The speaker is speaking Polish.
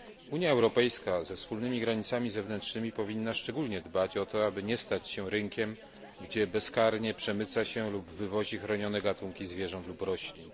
Unia Europejska ze wspólnymi granicami zewnętrznymi powinna szczególnie dbać o to, aby nie stać się rynkiem, gdzie bezkarnie przemyca się lub wywozi chronione gatunki zwierząt lub roślin.